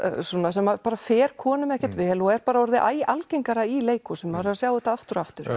sem fer konum ekkert vel og er bara orðið æ algengara í leikhúsum maður er að sjá þetta aftur og aftur